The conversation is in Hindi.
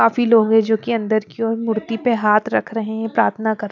काफी लोग है जोकि अंदर की ओर मूर्ति पे हाथ रख रहे हैं प्रार्थना कर--